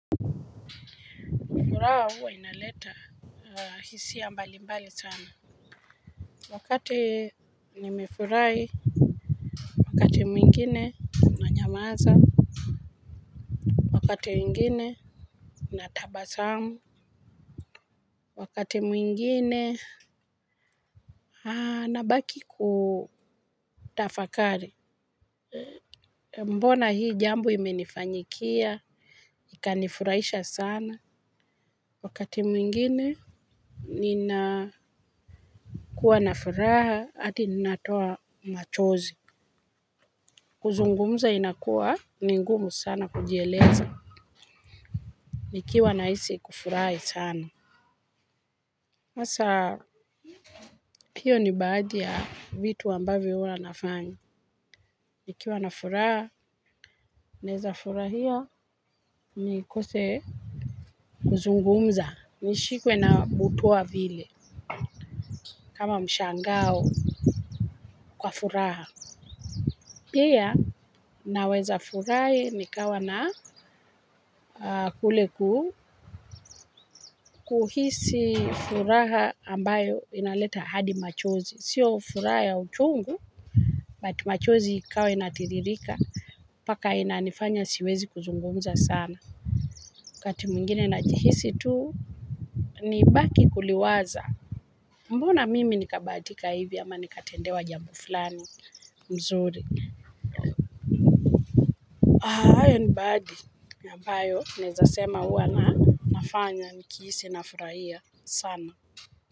Furaha huwa inaleta hisia mbali mbali sana. Wakati nimefurahi, wakati mwingine unanyamaza, wakati mwingine natabasamu, wakati mwingine nabaki kutafakari. Mbona hii jambo imenifanyikia, ikanifuraisha sana. Wakati mwingine ninakuwa na furaha hadi natoa machozi. Kuzungumza inakuwa, ni ngumu sana kujieleza. Nikiwa nahisi kufurai sana. Sasa hio ni baadhi ya vitu ambavyo huwa nafanya. Nikiwa na furaha, naeza furahia nikose kuzungumza. Nishikwe na butwaa vile, kama mshangao kwa furaha. Pia naweza furai nikawa na kule kuhisi furaha ambayo inaleta hadi machozi, sio furaha ya uchungu. But machozi ikawa inatiririka, mpaka inanifanya siwezi kuzungumza sana. Kati mwingine najihisi tuu, nibaki kuliwaza. Mbona mimi nikabatika hivi ama nikatendewa jambo fulani mzuri. Iron body ambayo naeza sema hua nafanya nikihisi nafuraia sana.